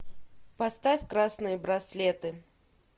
поставь красные браслеты